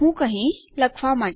હું કહીશ લખવા માટે